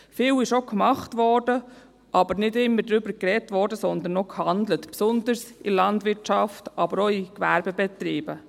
Vieles wurde denn auch gemacht, aber es wurde nicht immer darüber geredet, sondern nur gehandelt, besonders in der Landwirtschaft, aber auch in Gewerbebetrieben.